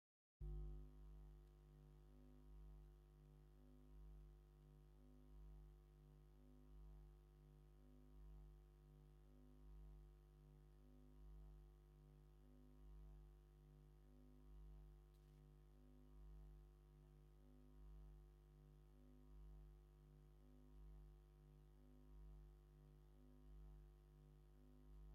ሓንቲ ጓል ኣንስተይቲ ባህላዊ ክዳን ኢትዮጵያ ወይ ኤርትራዊ ክዳን (ክዳን ሓበሻ)ን ወርቂ ስልማትን ተኸዲና ትረአ። ጸጉራን ቅዲ ኣከዳድናኣን ኣካል ባህላዊ ስነ-ስርዓት መርዓ ወይ በዓል ምዃና ይሕብር። ኣብቲ ከባቢ ዝርአ ባህላዊ ምቑናን ርእሲ እንታይ እዩ ዘመልክት?